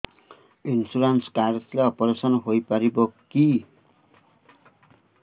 insurance card ଥିଲେ operation ହେଇପାରିବ କି